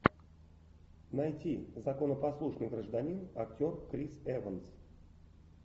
найти законопослушный гражданин актер крис эванс